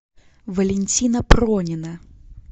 валентина пронина